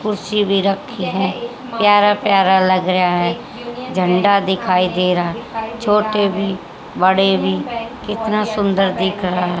कुर्सी भी रखी है प्यारा-प्यारा लग रहा है झंडा दिखाई दे रहा छोटे भी बड़े भी कितना सुंदर दिख रहा --